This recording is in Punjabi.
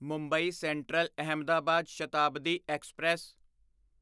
Mumbai central Ahmedabad Shatabdi express